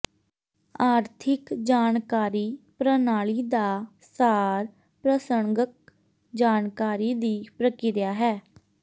ਆਰਥਿਕ ਜਾਣਕਾਰੀ ਪ੍ਰਣਾਲੀ ਦਾ ਸਾਰ ਪ੍ਰਸੰਗਕ ਜਾਣਕਾਰੀ ਦੀ ਪ੍ਰਕਿਰਿਆ ਹੈ